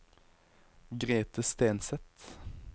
Grethe Stenseth